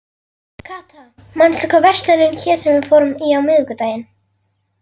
Kata, manstu hvað verslunin hét sem við fórum í á miðvikudaginn?